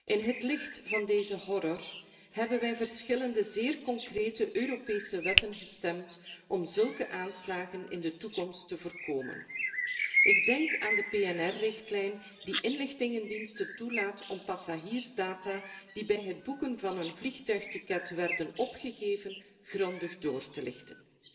In het licht van deze horror hebben wij verschillende zeer concrete Europese wetten gestemd om zulke aanslagen in de toekomst te voorkomen. Ik denk aan de PNR richtlijn, die inlichtingendiensten toelaat om passagiersdata die bij het boeken van een vliegtuigticket werden opgegeven, grondig door te lichten.